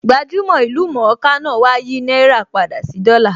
Gbajúmò/ ìlú mọ̀ńká náà wá á yìí náírà padà sí dollar